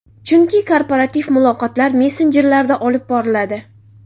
Chunki korporativ muloqotlar messenjerlarda olib boriladi.